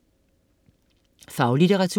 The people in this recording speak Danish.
Faglitteratur